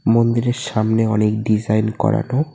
মন্দিরের সামনে অনেক ডিজাইন করানো।